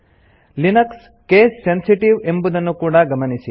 httpspoken tutorialorg Linux case sensitive ಎಂಬುದನ್ನು ಕೂಡಾ ಗಮನಿಸಿ